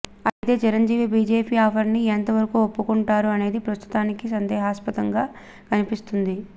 అయితే Chiranjeevi BJP offer ని ఎంత వరకు ఒప్పుకుంటారు అనేది ప్రస్తుతానికి సందేహాస్పదంగా కనిపిస్తుంది